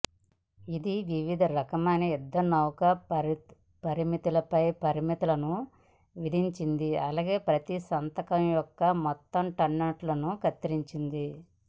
ఇది వివిధ రకాలైన యుద్ధనౌకల పరిమితులపై పరిమితులను విధించింది అలాగే ప్రతి సంతక యొక్క మొత్తం టోన్నట్ను కత్తిరించింది